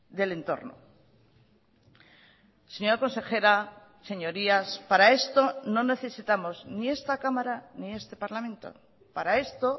del entorno señora consejera señorías para esto no necesitamos ni esta cámara ni este parlamento para esto